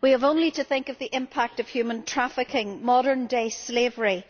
We have only to think of the impact of human trafficking modern day slavery